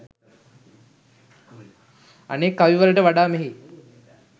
අනෙක් කවිවලට වඩා මෙහි